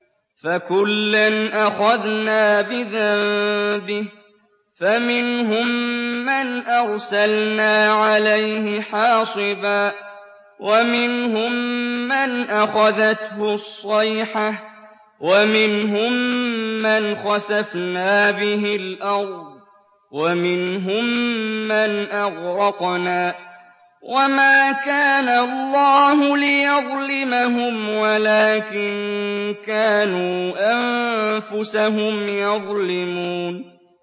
فَكُلًّا أَخَذْنَا بِذَنبِهِ ۖ فَمِنْهُم مَّنْ أَرْسَلْنَا عَلَيْهِ حَاصِبًا وَمِنْهُم مَّنْ أَخَذَتْهُ الصَّيْحَةُ وَمِنْهُم مَّنْ خَسَفْنَا بِهِ الْأَرْضَ وَمِنْهُم مَّنْ أَغْرَقْنَا ۚ وَمَا كَانَ اللَّهُ لِيَظْلِمَهُمْ وَلَٰكِن كَانُوا أَنفُسَهُمْ يَظْلِمُونَ